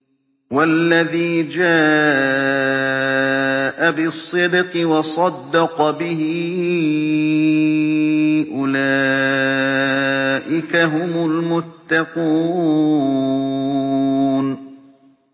وَالَّذِي جَاءَ بِالصِّدْقِ وَصَدَّقَ بِهِ ۙ أُولَٰئِكَ هُمُ الْمُتَّقُونَ